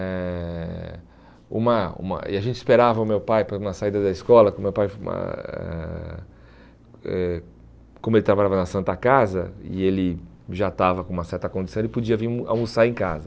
Eh uma uma e a gente esperava o meu pai para uma saída da escola, porque o meu pai, eh como ele trabalhava na Santa Casa, e ele já estava com uma certa condição, ele podia vir almo almoçar em casa.